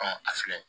a filɛ